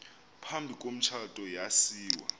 phambi komtshato yasiwa